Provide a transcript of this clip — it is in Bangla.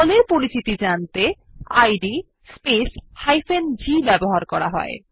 দলের পরিচিতি জানতে ইদ স্পেস g ব্যবহৃত হয়